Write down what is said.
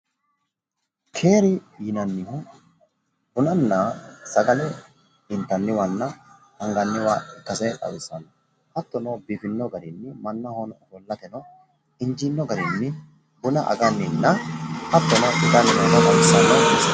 Tini base keeri yinanni bununna sagalete mineti, lowo geeshsha biifinonna injittano baseti